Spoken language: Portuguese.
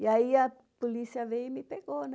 E aí a polícia veio e me pegou.